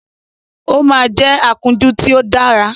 Ó máa jẹ́ akúnjú tí ó dára